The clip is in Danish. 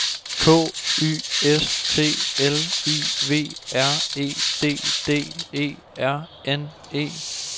K Y S T L I V R E D D E R N E